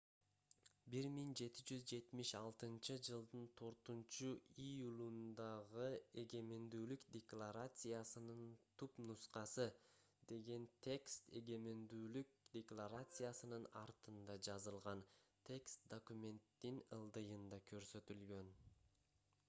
1776-жылдын 4-июлундагы эгемендүүлүк декларациясынын түпнускасы деген текст эгемендүүлүк декларациясынын артында жазылган текст документтин ылдыйында көрсөтүлгөн